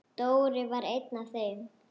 Dóri var einn af þeim.